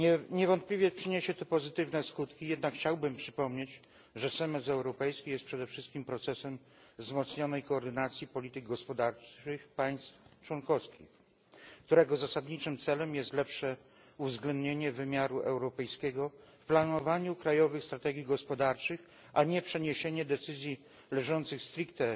Niewątpliwie przyniesie to pozytywne skutki, jednak chciałbym przypomnieć, że semestr europejski jest przede wszystkim procesem wzmocnionej koordynacji polityk gospodarczych państw członkowskich, którego zasadniczym celem jest lepsze uwzględnienie wymiaru europejskiego w planowaniu krajowych strategii gospodarczych, a nie uczynienie decyzji leżących stricte